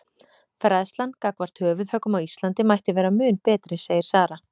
Fræðslan gagnvart höfuðhöggum á Íslandi mætti vera mun betri segir Sara.